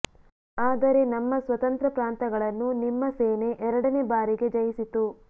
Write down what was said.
ಆದರೆ ನಮ್ಮ ಸ್ವತಂತ್ರ ಪ್ರಾಂತಗಳನ್ನು ನಿಮ್ಮ ಸೇನೆ ಎರಡನೇ ಬಾರಿಗೆ ಜಯಿಸಿತು